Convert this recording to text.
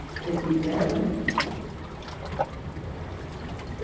Até que idade?